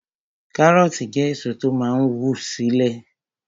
Kárọ̀ọ̀tì jẹ́ èso tó máa n wù sínu ilẹ̀